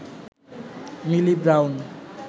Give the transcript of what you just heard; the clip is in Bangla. মিলি ব্রাউন